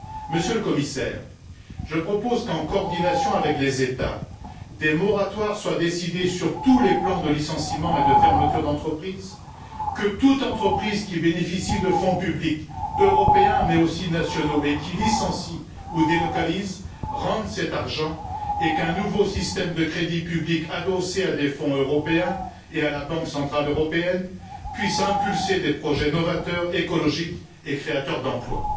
Monsieur le Commissaire, je propose qu'en coordination avec les États, des moratoires soient décidés sur tous les plans de licenciement et de fermeture d'entreprise, que toute entreprise qui bénéficie de fonds publics européens, mais aussi nationaux, et qui licencie ou délocalise, rende cet argent et qu'un nouveau système de crédit public adossé à des fonds européens et à la Banque centrale européenne puisse promouvoir des projets novateurs, écologiques et créateurs d'emplois.